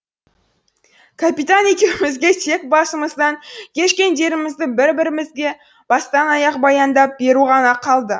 капитан екеумізге тек басымыздан кешкендерімізді бір бірімізге бастан аяқ баяндап беру ғана қалды